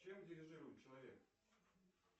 чем дирижирует человек